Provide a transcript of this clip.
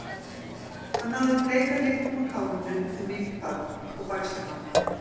Hann náði bleika litnum úr hárinu eftir mikinn barning og bægslagang.